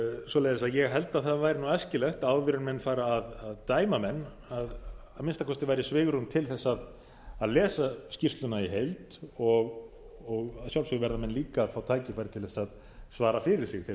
svoleiðis að ég held að það væri æskilegt áður en menn fara að dæma menn að að minnsta kosti væri svigrúm til þess að lesa skýrsluna í heild og að sjálfsögðu verða menn líka að fá tækifæri til þess að svara fyrir sig þeir sem